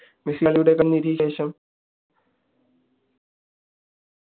മെസ്സിയുടെ കളി നിരീക്ഷിച്ചതിനു ശേഷം